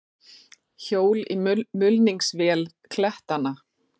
Hjól í mulningsvél klettanna.